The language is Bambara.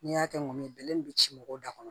N'i y'a kɛ ŋɔŋɛɲɛ bɛlɛ nin be ci mɔgɔw da kɔnɔ